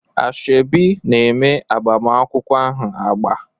Ashebi na-eme agbamakwụkwọ ahụ agba.